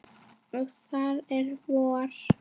Og það er vor.